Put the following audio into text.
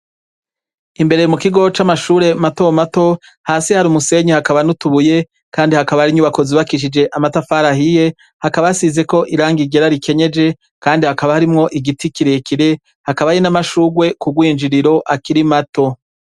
Imbere mu kigo c'amashure mato mato hasi hari umusenyi hakaba nutubuye, kandi hakaba arinyo ubakozi bakishije amatafarahiye hakabasizeko iranga igera rikenyeje, kandi hakaba harimwo igiti kirekire hakaba ari n'amashurwe kugwinjiriro akirai mato.